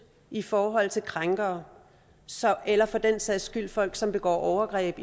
i forhold til krænkere eller for den sags skyld i folk som begår overgreb